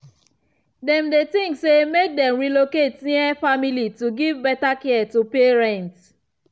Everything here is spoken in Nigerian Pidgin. dem dey think say make dem relocate near family to give better care to parents.